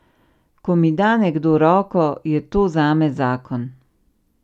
Ko mi da nekdo roko, je to zame zakon.